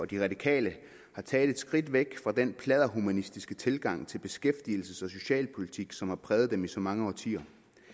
de radikale har taget et skridt væk fra den pladderhumanistiske tilgang til beskæftigelses og socialpolitik som har præget dem i så mange årtier